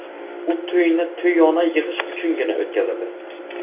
U to‘yni to‘yona yig‘ish uchungina o‘tkazadi.